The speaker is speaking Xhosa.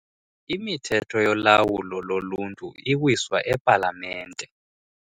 Imithetho yolawulo loluntu iwiswa epalamente.